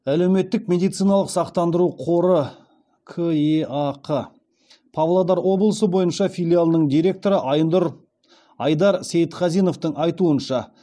әлеуметтік медициналық сақтандыру қоры кеақ павлодар облысы бойынша филиалының директоры айдар сейітқазиновтың айтуынша